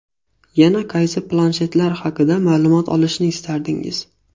Yana qaysi planshetlar haqida ma’lumot olishni istardingiz?